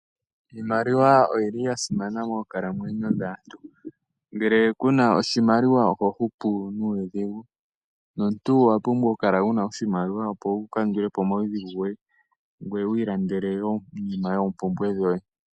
Iimaliwa oyili ya simana moonkalamwenyo dhaantu ngele kuna oshimaliwa oho hupu nuudhigu nomuntu owa pumbwa oku kala wuna oshimaliwa opo wuka ndulepo omaudhigu goye ngoye wu ilandele wo iinima yoompumbwe dhoye.